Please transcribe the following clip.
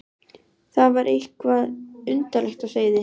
Það var eitthvað undarlegt á seyði.